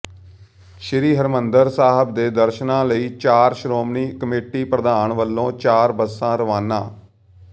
ਸ੍ਰੀ ਹਰਿਮੰਦਰ ਸਾਹਿਬ ਦੇ ਦਰਸ਼ਨਾਂ ਲਈ ਚਾਰ ਸ਼੍ਰੋਮਣੀ ਕਮੇਟੀ ਪ੍ਰਧਾਨ ਵਲੋਂ ਚਾਰ ਬੱਸਾਂ ਰਵਾਨਾ